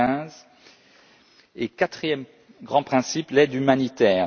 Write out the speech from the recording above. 2015. Quatrième grand principe l'aide humanitaire.